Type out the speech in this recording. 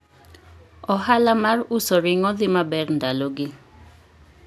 Ohala mar uso ring'o dhi maber ndalogi.